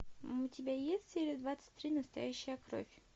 у тебя есть серия двадцать три настоящая кровь